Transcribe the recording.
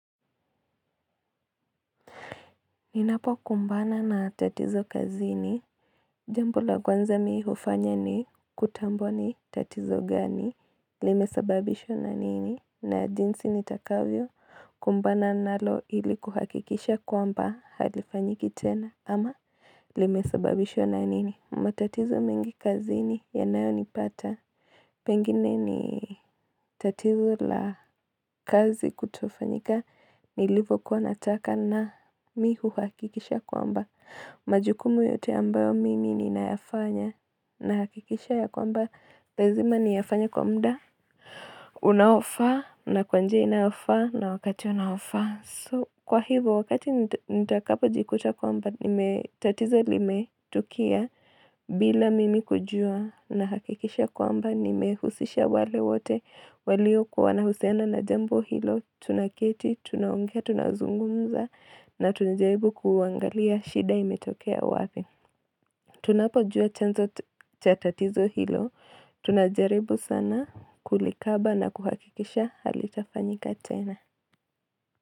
Ninapokumbana na tatizo kazini Jambo la kwanza mi hufanya ni kutambua ni tatizo gani Limesababishwa na nini na jinsi nitakavyo kumbana nalo ili kuhakikisha kwamba halifanyiki tena ama Limesababishwa na nini matatizo mengi kazini yanayonipata Pengine ni tatizo la kazi kutofanyika nilipokuwa nataka na mi huhakikisha kwamba. Majukumu yote ambayo mimi ninayafanya nahakikisha ya kwamba. Lazima niyafanye kwa mda, unaofaa na kwa njia inayofaa na wakati unaofaa. Kwa hivyo, wakati nitakapojikuta kwamba, tatizo limetukia bila mimi kujua nahakikisha kwamba, nimehusisha wale wote, walikuwa na uhusiana na jambo hilo, tunaketi, tunaongea, tunazungumza, na tunajaribu kuangalia shida imetokea wapi. Tunapojua chanzo cha tatizo hilo, tunajaribu sana kulikaba na kuhakikisha halitafanyika tena.